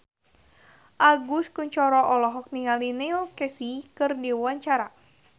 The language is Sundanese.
Agus Kuncoro olohok ningali Neil Casey keur diwawancara